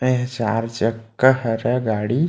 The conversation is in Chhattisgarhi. ये चार चक्का हरे गाड़ी--